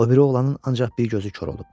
O biri oğlanın ancaq bir gözü kor olub.